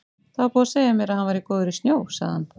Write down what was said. Það var búið að segja mér að hann væri góður í snjó, sagði hann.